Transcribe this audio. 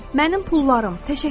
Mənim pullarım!